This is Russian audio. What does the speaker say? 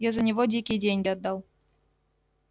я за него дикие деньги отдал